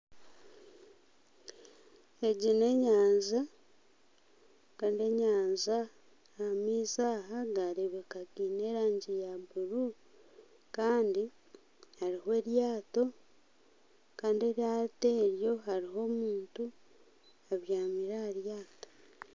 Egi n'enyanja kandi enyanja ah'amaizi aha gareebeka gaine erangi ya buru, kandi eriho eryato, kandi eryato eryo hariho omuntu abyamire aha ryato.